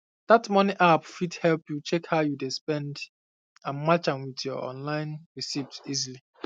that money app fit help you check how you dey spend and match am with your online receipts easily